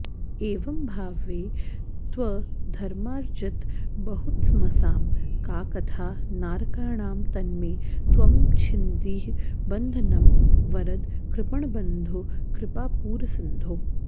एवम्भावे त्वधर्मार्जितबहुतमसां का कथा नारकाणां तन्मे त्वं छिन्धि बन्धं वरद कृपणबन्धो कृपापूरसिन्धो